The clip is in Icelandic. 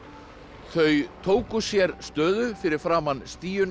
þau tóku sér stöðu fyrir framan